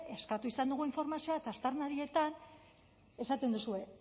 eskatu izan dugu informazioa eta aztarnarietan esaten duzue